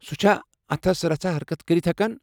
سُہ چھا اتھس رژھا حرکت کٔرتھ ہٮ۪کان ؟